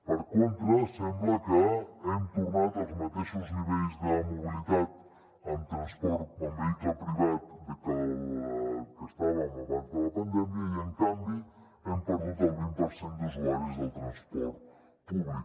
per contra sembla que hem tornat als mateixos nivells de mobilitat en vehicle privat en que estàvem abans de la pandèmia i en canvi hem perdut el vint per cent d’usuaris del transport públic